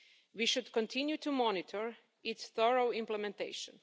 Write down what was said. We should continue to monitor its thorough implementation.